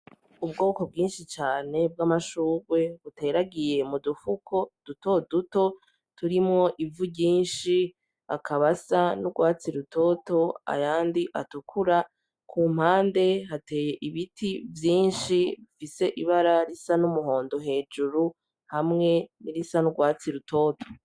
Ubwoko bwinshi cane bw'amashurwe buteragiye mu dufuko dutoduto turimwo ivu ryinshi, akaba asa n'urwatsi rutoto, ayandi atukura. Ku mpande hateye ibiti vyinshi bifise ibara risa n'umuhondo hejuru, hamwe n'irisa n'urwatsi rutoto.